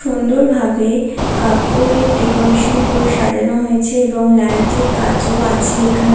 সুন্দর ভাবে কাপড়ের ডেকোরেশন করে সাজানো হয়েছে এবং লাইটের কাজও আছে এখানে।